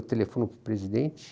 Eu telefono para o presidente.